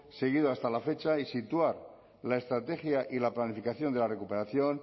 seguido hasta la fecha y situar la estrategia y la planificación de la recuperación